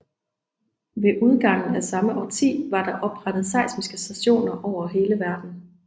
Ved udgangen af samme årti var der oprettet seismiske stationer over hele verden